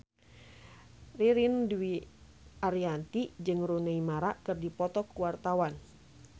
Ririn Dwi Ariyanti jeung Rooney Mara keur dipoto ku wartawan